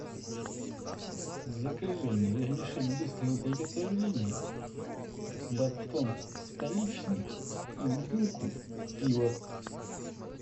закажи мне вермишель быстрого приготовления батон столичный и бутылку пива